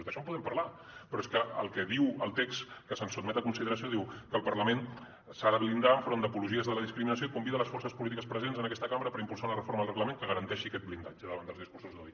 d’això en podem parlar però és que el que diu el text que se’ns sotmet a consideració diu que el parlament s’ha de blindar en front d’apologies a la discriminació i convida a les forces polítiques presents en aquesta cambra per impulsar una reforma del reglament que garanteixi aquest blindatge davant dels discursos d’odi